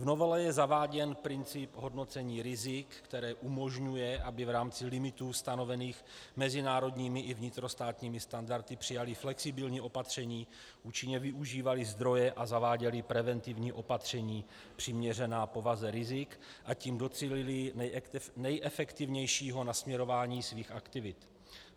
V novele je zaváděn princip hodnocení rizik, které umožňuje, aby v rámci limitů stanovených mezinárodními i vnitrostátními standardy přijaly flexibilní opatření, účinně využívaly zdroje a zaváděly preventivní opatření přiměřená povaze rizik, a tím docílily nejefektivnějšího nasměrování svých aktivit.